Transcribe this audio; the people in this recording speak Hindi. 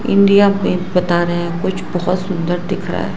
इंडिया पे बता रहे हैं कुछ बहुत सुंदर दिख रहा है।